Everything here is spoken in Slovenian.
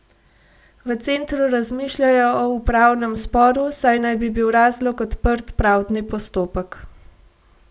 V centru razmišljajo o upravnem sporu, saj naj bi bil razlog odprt pravdni postopek.